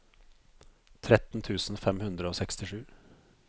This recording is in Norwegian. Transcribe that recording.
tretten tusen fem hundre og sekstisju